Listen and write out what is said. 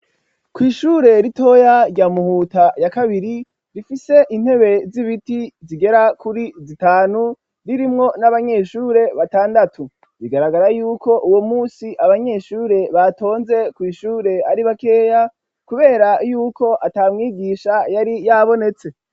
Kw'ishure ritoya rya Muhuta ya kabiri rifise intebe z'ibiti zigera kuri zitanu ririmwo n'abanyeshure batandatu. Bigaragara yuko uwo munsi abanyeshure batonze kw'ishure ari bakeya kubera yuko ata mwigisha yari yabonetse.